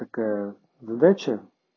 такая задача